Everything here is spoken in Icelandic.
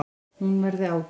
Hún verði kærð.